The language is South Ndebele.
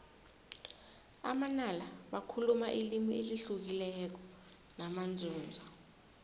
amanala bakhuluma ilimi elihlukileko namanzunza